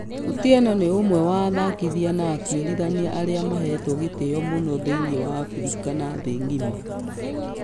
Otieno nĩ ũmwe wa athakithia na atũĩrithania arĩa mahetwo gĩteo mũno thĩinĩ wa africa na thĩ ngima.